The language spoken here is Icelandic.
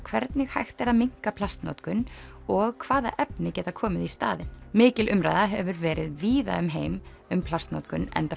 hvernig hægt er að minnka plastnotkun og hvaða efni geta komið í staðinn mikil umræða hefur verið víða um heim um plastnotkun enda